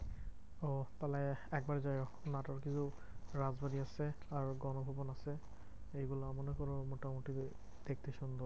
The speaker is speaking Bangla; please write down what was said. ওহ তাহলে একবার যাইও নাটোর কিছু হচ্ছে আর গণভোজন হচ্ছে এইগুলো মনে করো মোটামুটি দেখতে সুন্দর।